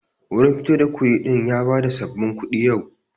Wurin fito da kuɗi din ya bada sabbabin kuɗi yau.